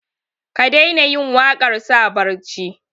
ka daina yin waƙar sa barci